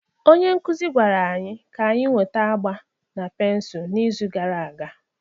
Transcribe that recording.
Onye nkuzi gwara anyị ka anyị weta agba na pensụl n'izu gara aga.